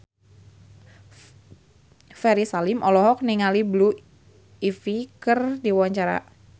Ferry Salim olohok ningali Blue Ivy keur diwawancara